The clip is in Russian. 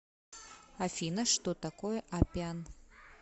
афина что такое аппиан